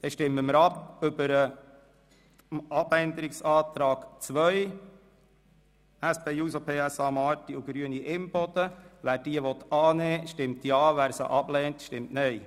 Wer den Abänderungsantrag SP-JUSO-PSA/ Marti und Grüne/Imboden annehmen will, stimmt Ja, wer diesen ablehnt, stimmt Nein.